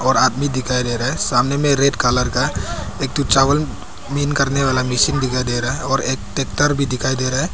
और आदमी दिखाई दे रहा है सामने में रेड कलर का एक ठो चावल क्लीन करने वाला मशीन दिखाई दे रहा है और एक ट्रैक्टर भी दिखाई दे रहा है।